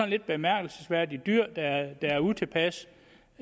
lidt bemærkelsesværdigt at dyr der er utilpasse